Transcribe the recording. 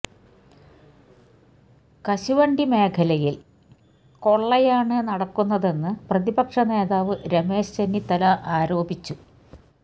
കശുവണ്ടി മേഖലയില് കൊള്ളയാണ് നടക്കുന്നതെന്ന് പ്രതിപക്ഷ നേതാവ് രമേശ് ചെന്നിത്തല ആരോപിച്ചു